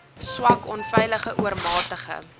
swak onveilige oormatige